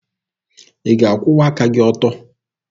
Ị ga-akwụwa aka gị ọtọ?